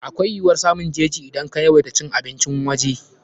Akwai yiwuwar samun jeji idan ka yawaita cin abincin waje.